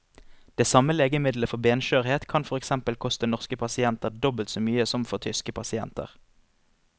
Det samme legemiddelet for benskjørhet kan for eksempel koste norske pasienter dobbelt så mye som for tyske pasienter.